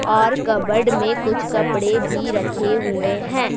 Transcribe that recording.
और कपबोर्ड में कुछ कपड़े भी रखे हुए हैं।